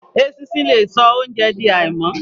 Eṣinṣin le so óunjẹ di àìmọ́.